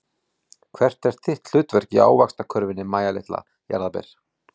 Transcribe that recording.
Hvert er þitt hlutverk í ávaxtakörfunni Mæja litla jarðarber?